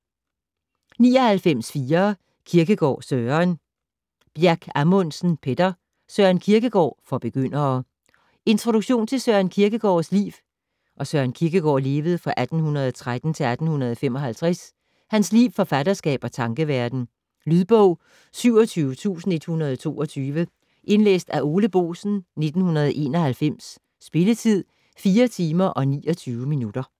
99.4 Kierkegaard, Søren Bjerck-Amundsen, Petter: Søren Kierkegaard - for begyndere Introduktion til Søren Kierkegaards (1813-1855) liv, forfatterskab og tankeverden. Lydbog 27122 Indlæst af Ole Boesen, 1991. Spilletid: 4 timer, 29 minutter.